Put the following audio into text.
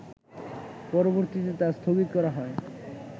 পরবর্তীতে তা স্থগিত করা হয়